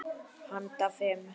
Handa fimm